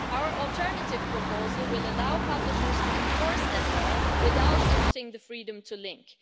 Our alternative proposal will allow publishers to enforce that law without limiting the freedom to link.